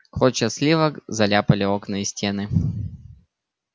клочья сливок заляпали окна и стены